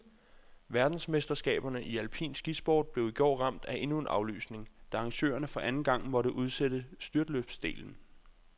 Verdensmesterskaberne i alpin skisport blev i går ramt af endnu en aflysning, da arrangørerne for anden gang måtte udsætte styrtløbsdelen.